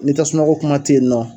Ni tasuma ko kuma tɛ yen nɔ.